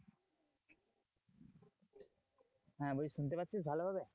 হ্যাঁ বলছি শুনতে পাচ্ছিস ভালো ভাবে?